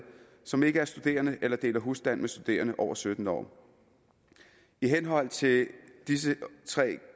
som ikke er studerende eller deler husstand med studerende over sytten år i henhold til disse tre